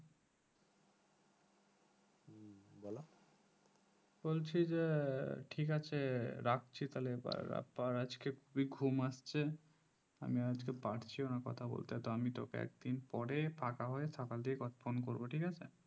বলছি যে ঠিক আছ রাখছি তাহলে এবার আবার আজকে খুবই ঘুম আসছে আমি আজকে আর পারছিও না কথা বলতে আমি তোকে একদিন পরে ফাঁকা হয়ে সকাল দিকে phone করবো ঠিক আছে